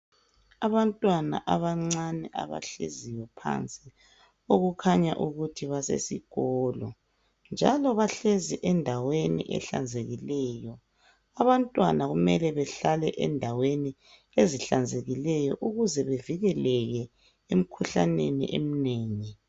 Abantwana abancani abahleziyo phansi ,okukhanya ukuthi basesikolo. Njalo bahlezi endaweni ehlanzekileyo. Abantwana kumele behlale endaweni ezihlanzekileyo ukuze bevikeleke emikhuhlaneni eminengi.